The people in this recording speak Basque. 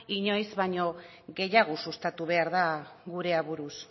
inoiz baino gehiago sustatu behar da gure aburuz